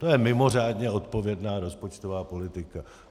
To je mimořádně odpovědná rozpočtová politika.